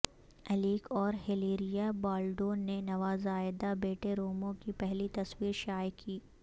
الیک اور Hilaria Baldwin نے نوزائیدہ بیٹے رومو کی پہلی تصویر شائع کی